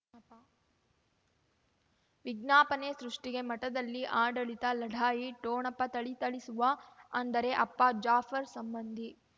ವಿಜ್ಞಾಪನೆ ಸೃಷ್ಟಿಗೆ ಮಠದಲ್ಲಿ ಆಡಳಿತ ಲಢಾಯಿ ಠೊಣಪ ಥಳಿಥಳಿಸುವ ಅಂದರೆ ಅಪ್ಪ ಜಾಫರ್ ಸಂಬಂಧಿ